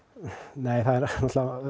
nei